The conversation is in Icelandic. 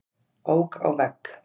Ók á vegg